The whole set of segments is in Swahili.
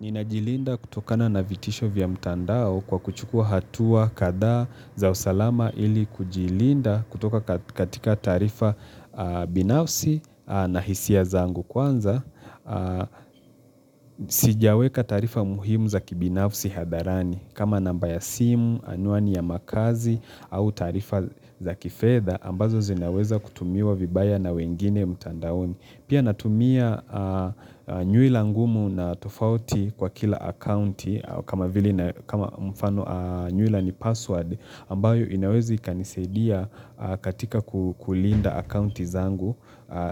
Ninajilinda kutokana na vitisho vya mtandao kwa kuchukua hatua kadhaa za usalama ili kujilinda kutoka katika taarifa binafsi na hisia zangu kwanza. Sijiaweka taarifa muhimu za kibinafsi hadharani kama namba ya simu, anwani ya makaazi au taarifa za kifedha ambazo zinaweza kutumiwa vibaya na wengine mtandaoni. Pia natumia nyuila ngumu na tofauti kwa kila akaunti kama vile na nyuila ni password ambayo inaweza kanisaidia katika kulinda akaunti zangu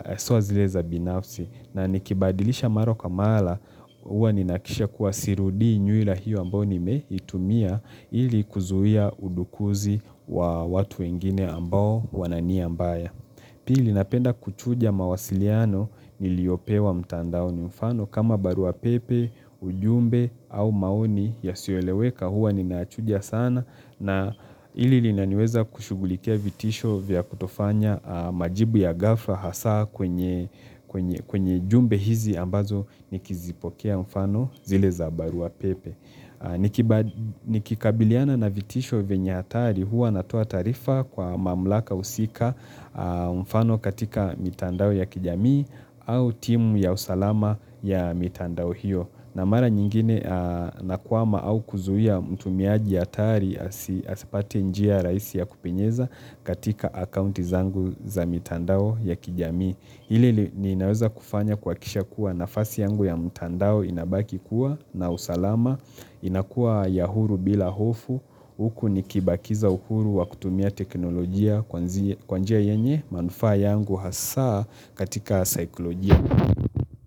haswa zileza binafsi. Na nikibadilisha mara kwa mara huwa ninahakikisha kuwa sirudii nyuila hiyo ambayo ni meitumia ili kuzuia udukuzi wa watu wengine ambao wana nia mbaya. Pili napenda kuchuja mawasiliano niliopewa mtandaoni mfano kama barua pepe, ujumbe au maoni yasioleweka huwa ninayachuja sana na hili lina niweza kushugulikia vitisho vya kutofanya majibu ya gafla hasa kwenye jumbe hizi ambazo nikizipokea mfano zile za barua pepe. Ni kikabiliana na vitisho venya hatari huwa natoa taarifa kwa mamlaka husika mfano katika mitandao ya kijamii au timu ya usalama ya mitandao hiyo na mara nyingine na kwama au kuzuhia mtumiaji hatari asipate njia rahisi ya kupinyeza katika akaunti zangu za mitandao ya kijamii Hili ninaweza kufanya kuhakisha kuwa nafasi yangu ya mtandao inabaki kuwa na usalama, inakuwa ya huru bila hofu, huku nikibakiza uhuru wakutumia teknolojia kwa njia yenye manufaa yangu hasa katika saikolojia.